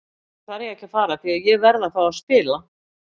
Nú þarf ég að fara því ég verð að fá að spila.